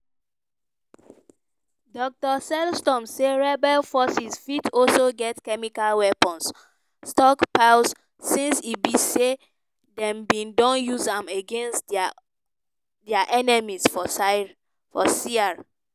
dr sellstrom say rebel forces fit also get chemical weapons stockpiles since e be say dem bin don use am against dia enemies for syria.